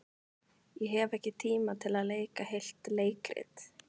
Ég hef ekki tíma til að leika heilt leikrit.